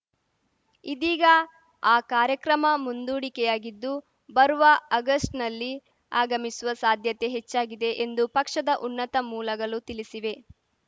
ಇದೀಗ ಆ ಕಾರ್ಯಕ್ರಮ ಮುಂದೂಡಿಕೆಯಾಗಿದ್ದು ಬರುವ ಆಗಸ್ಟ್‌ನಲ್ಲಿ ಆಗಮಿಸುವ ಸಾಧ್ಯತೆ ಹೆಚ್ಚಾಗಿದೆ ಎಂದು ಪಕ್ಷದ ಉನ್ನತ ಮೂಲಗಲು ತಿಲಿಸಿವೆ